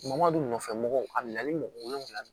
Bamakɔ nɔfɛ mɔgɔw a nana ni mɔgɔ wolonwula ye